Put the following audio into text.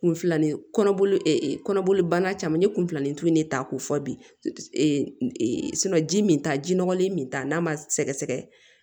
Kunfilanin kɔnɔ kɔnɔboli banna caman ne kun filanin tu ne ta k'o fɔ bi ji min ta ji nɔgɔlen min ta n'a ma sɛgɛsɛgɛ